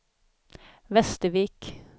Västervik